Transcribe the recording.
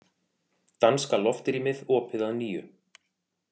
Danska loftrýmið opið að nýju